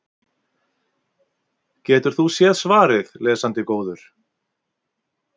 Getur þú séð svarið, lesandi góður?